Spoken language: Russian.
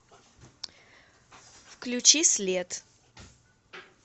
включи след